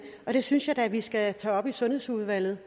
og det synes jeg da vi skal tage op i sundhedsudvalget